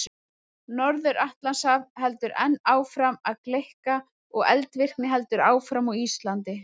Norður-Atlantshaf heldur enn áfram að gleikka og eldvirkni heldur áfram á Íslandi.